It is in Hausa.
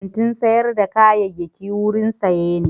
Kantin sayar da kayayyaki wurin saye ne.